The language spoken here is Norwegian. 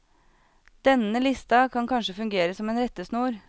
Denne lista kan kanskje fungere som en rettesnor.